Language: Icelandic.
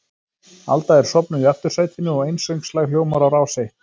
Alda er sofnuð í aftursætinu og einsöngslag hljómar á Rás eitt.